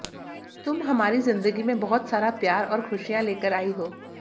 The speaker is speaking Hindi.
तुम हमारी जिंदगी में बहुत सारा प्यार और खुशियां लेकर आई हो